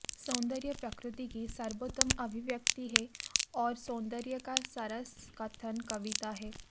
सौन्दर्य प्रकृति की सर्वोत्तम अभिव्यक्ति है और सौन्दर्य का सरस कथन कविता है